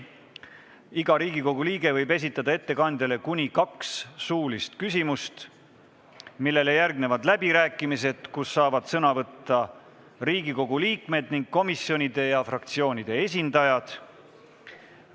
Iga Riigikogu liige võib esitada ettekandjale kuni kaks suulist küsimust, millele järgnevad läbirääkimised, kus saavad sõna võtta Riigikogu liikmed ning komisjonide ja fraktsioonide esindajad.